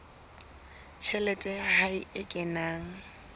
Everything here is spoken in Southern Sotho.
tjhelete ya hae e kenang